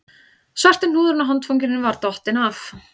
Svarti hnúðurinn á handfanginu var dottinn af